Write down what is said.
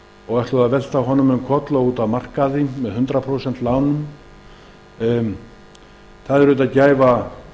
og ætluðu að velta honum um koll og út af markaði með hundrað prósent lánum það er gæfa